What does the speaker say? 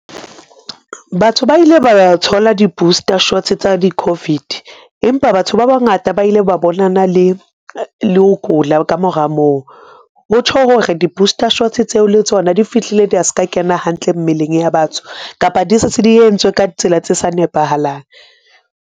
Batho ba ile ba thola di-booster shots tsa di-Covid, empa batho ba bangata ba ile ba bonana le ho kula kamora moo, ho tjho hore di-booster shots tseo le tsona di fihlile da ska kena hantle mmeleng ya batho kapa di se tse di entswe ka tsela tse sa nepahalang.